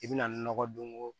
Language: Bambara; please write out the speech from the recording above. I bɛna ni nɔgɔ don o